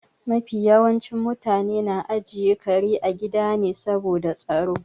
Mafi yawancin mutane na ajiye kare a gida ne saboda tsaro.